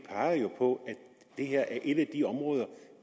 peger jo på at det her er et af de områder